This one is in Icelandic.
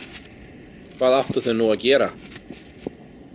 Hvað áttu þau nú að gera?